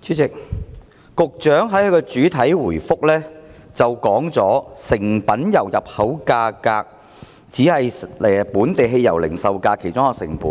主席，局長在主體答覆中指出，成品油入口價只是本地汽油零售價的其中一項成本，